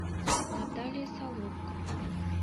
наталья соломко